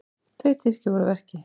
Tveir Tyrkir voru að verki.